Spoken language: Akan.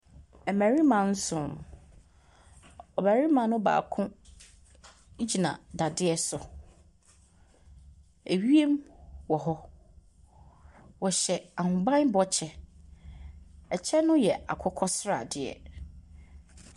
Mmarima nson. Ɔbarima no baako gyina dadeɛ so. Ewiem wɔ hɔ. Wɔhyɛ ahobammɔ kyɛ. Ɛkyɛ no yɛ akokɔ sradeɛ.